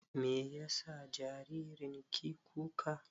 Me ya sa jaririn ki kuka?